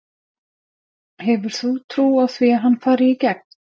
Hefur þú trú á því að hann fari í gegn?